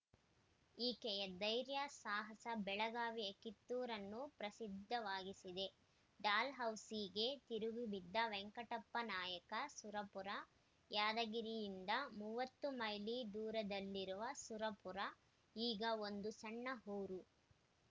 ಈಕೆಯ ಧೈರ್ಯ ಸಾಹಸ ಬೆಳಗಾವಿಯ ಕಿತ್ತೂರನ್ನು ಪ್ರಸಿದ್ಧವಾಗಿಸಿದೆ ಡಾಲ್‌ಹೌಸಿಗೆ ತಿರುಗಿಬಿದ್ದ ವೆಂಕಟಪ್ಪನಾಯಕ ಸುರಪುರ ಯಾದಗಿರಿಯಿಂದ ಮೂವತ್ತು ಮೈಲಿ ದೂರದಲ್ಲಿರುವ ಸುರಪುರ ಈಗ ಒಂದು ಸಣ್ಣ ಊರು